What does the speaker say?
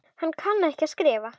Hann kann ekki að skrifa.